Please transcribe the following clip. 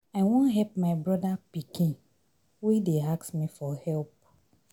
I wan help my broda pikin wey dey ask me for help.